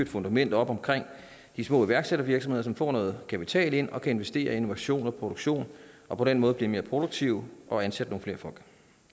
fundament op omkring de små iværksættervirksomheder som får noget kapital ind og kan investere i innovation og produktion og på den måde blive mere produktive og ansætte nogle flere folk